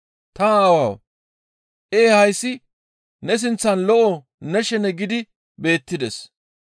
Ta Aawawu! Ee hayssi ne sinththan lo7o ne shene gidi beettides.